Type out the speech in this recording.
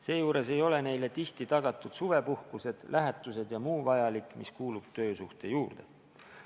Seejuures ei ole neile tihti tagatud suvepuhkused, lähetused ja muu vajalik, mis kuulub töösuhte juurde.